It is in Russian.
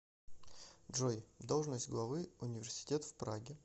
джой должность главы университет в праге